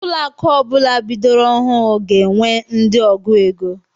Ụlọ akụ ọbula bidoro ọhụụ ga-enwe ndị ọgụ égo.